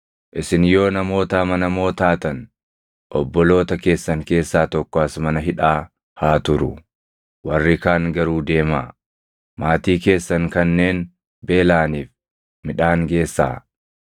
Isin yoo namoota amanamoo taatan obboloota keessan keessaa tokko as mana hidhaa haa turu; warri kaan garuu deemaa; maatii keessan kanneen beelaʼaniif midhaan geessaa.